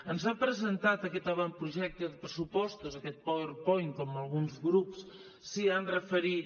ens ha presentat aquest avantprojecte de pressupostos aquest powerpoint com alguns grups s’hi han referit